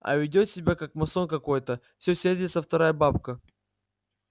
а ведёт себя как масон какой-то все сердится вторая бабка